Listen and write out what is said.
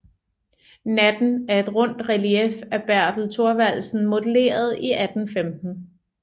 Natten er et rundt relief af Bertel Thorvaldsen modelleret i 1815